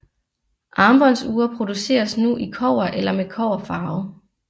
Armbåndsure produceres nu i kobber eller med kobberfarve